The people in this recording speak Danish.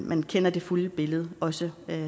man kender det fulde billede også